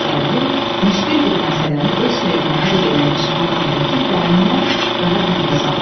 Ağarəhim müşqül bir məsələni öz xeyrinə həll eləmiş adam təkin dərindən rahat nəfəs aldı.